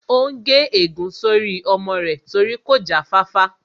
Ó n gé ègún sórí ọmọ rẹ̀ torí kò já fáfá